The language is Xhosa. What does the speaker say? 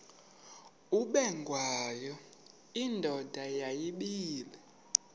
ubengwayo indoda yayibile